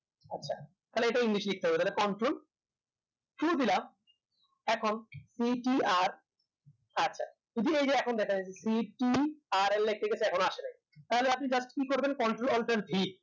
তাহলে এটা english লিখতে হবে তালে control two দিলাম এখন ctr আচ্ছা এই যে দেখেন যাচ্ছে ctrl এটিকে গেছে এখন ও আসে নাই তাহলে আপনি just কি করবেন control alter v